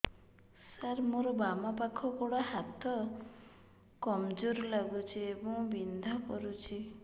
ସାର ମୋର ବାମ ପାଖ ଗୋଡ ହାତ କମଜୁର ଲାଗୁଛି ଏବଂ ବିନ୍ଧା କରୁଛି